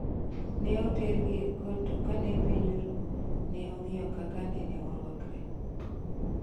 Neotergi e kot to kane piny oru neong'iyo kaka nene orwakre.